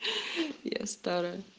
я старая